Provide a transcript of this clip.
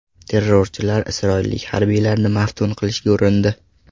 Terrorchilar isroillik harbiylarni maftun qilishga urindi.